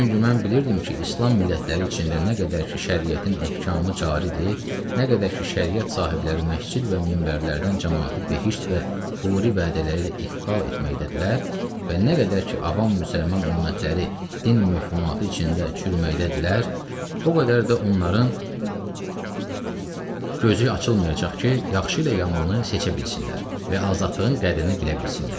Çünki mən bilirdim ki, İslam millətləri içində nə qədər ki şəriətin ehkamı caridir, nə qədər ki şəriət sahibləri məscid və minbərlərdən camaatı behişt və huri vədləri ilə ixval etməkdədirlər, və nə qədər ki avam müsəlman ümmətləri din möhmuatı içində çürüməkdədirlər, o qədər də onların gözü açılmayacaq ki, yaxşı ilə yamanı seçə bilsinlər və azadlığın qədrini bilə bilsinlər.